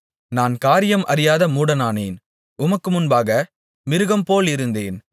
நான் காரியம் அறியாத மூடனானேன் உமக்கு முன்பாக மிருகம் போலிருந்தேன்